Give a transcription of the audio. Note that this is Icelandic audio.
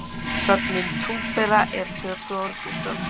Sögnin túpera er tökuorð úr dönsku